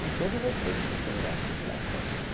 Com todo o respeito por quem gosta de dar festa.